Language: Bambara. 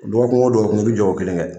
Dɔgɔ kun wo dɔgɔ kun , i bi jɔ ko kelen kɛ.